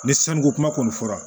Ni sanuko kuma kɔni fɔra